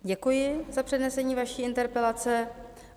Děkuji za přednesení vaší interpelace.